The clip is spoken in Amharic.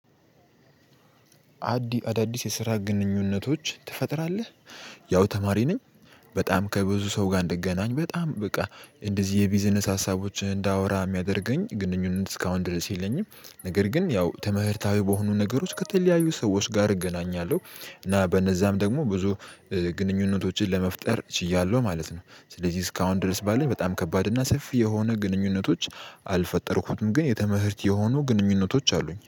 አዳዲስ የስራ ግንኙነቶች ትፈጥራለህ? ያው ተማሪ ነኝ በጣም ከብዙ ሰው ጋር እንድገናኝ በጣም በቃ እንደዚህ የቢዝነስ ሀሳቦችን እንዳወራ የሚያደርገኝ ግንኙነት እስካሁን ድረስ የለኝም። ነገር ግን ያው ትምህርታዊ በሆኑ ነገሮች ከተለያዩ ሰዎች ጋር እገናኛለሁ እና በነዛም ደግሞ ብዙ ግንኙነቶችን ለመፍጠር ችያለሁ ማለት ነው። ስለዚህ እስካሁን ድረስ ባለኝ በጣም ከባድ እና ሰፊ የሆነ ግንኙነቶች አልፈጠርኩትም ግን የተምህርት የሆኑ ግንኙነቶች አሉኝ